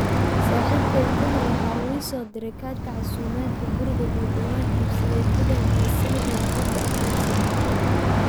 saaxiibkay juma waxa uu ii soo diray kaadhka casumaadda gurigii uu dhawaan iibsaday ku dheh mahadsanid warqadda aqoonsiga.